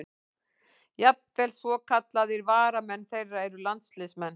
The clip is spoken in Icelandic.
Jafnvel svokallaðir varamenn þeirra eru landsliðsmenn.